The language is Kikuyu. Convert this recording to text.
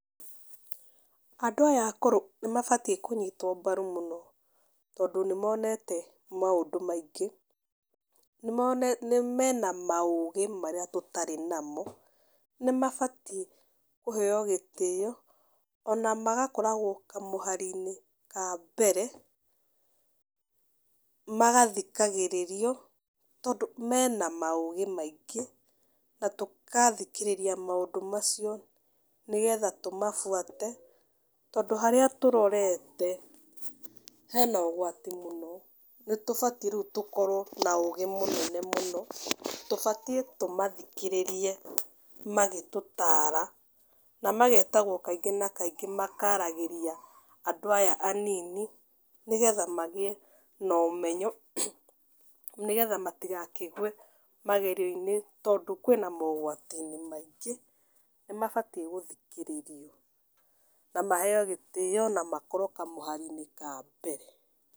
Andũ aya akũrũ nĩmabatiĩ kũnyitwo mbaru mũno tondũ nĩmonete maũndũ maingĩ. Nĩmonete mena maũgĩ marĩa tũtarĩ namo, nĩmabatiĩ kũheo gĩtĩo, ona magakoragwo kamũhari-inĩ ka mbere magathikagĩrĩrio tondũ mena maũgĩ maingĩ, na tũgathikĩrĩria maũndũ macio nĩgetha tũmabuate, tondũ harĩa tũrorete hena ũgwati mũno. Nĩtũbatiĩ rĩu tũkorwo na ũgĩ mũnene mũno, tũbatiĩ tũmathikĩrĩrie magĩtũtara, na magetagwo kaingĩ na kaingĩ makaragĩria andũ aya anini nĩgetha magĩe na ũmeyo, nĩgetha matigakĩgwe magerio-inĩ tondũ kwĩna mogwati-inĩ maĩngĩ, nĩmabatiĩ gũthikĩrĩrio, na maheo gĩtĩo na makorwo kamũhari-inĩ ka mbere.